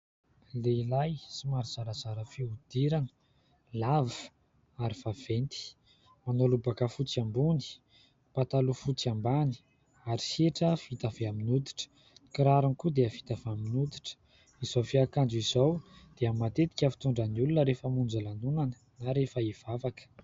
Lehilahy somary zarazara fihodirana, lava ary vaventy, manao lobaka fotsy ambony, pataloha fotsy ambany, ary hetra vita avy amin'ny hoditra, kirarony koa dia vita amin'ny hoditra; izao fiakanjo izao dia matetika fitondran'ny olona rehefa mamonjy lanonana na rehefa hivavaka.